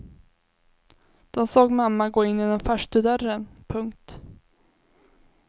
De såg mamma gå in genom farstudörren. punkt